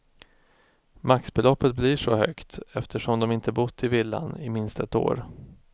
Maxbeloppet blir så högt eftersom de inte bott i villan i minst ett år.